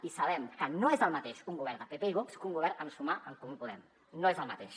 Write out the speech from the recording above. i sabem que no és el mateix un govern de pp i vox que un govern amb sumar en comú podem no és el mateix